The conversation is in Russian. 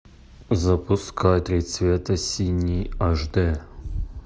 запускай три цвета синий аш д